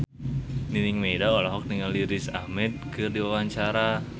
Nining Meida olohok ningali Riz Ahmed keur diwawancara